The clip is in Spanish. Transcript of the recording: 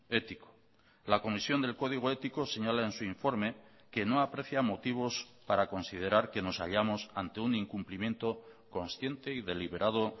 ético la comisión del código ético señala en su informe que no aprecia motivos para considerar que nos hallamos ante un incumplimiento consciente y deliberado